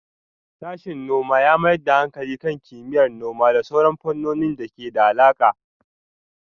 Sashen noma ya mayar da hankali kan kimiyyar noma da sauran fannonin da ke da alaƙa.